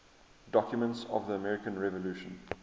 documents of the american revolution